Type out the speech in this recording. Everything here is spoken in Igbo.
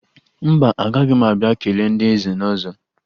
Mba, agaghị m abịa kelee ndị nze na ọzọ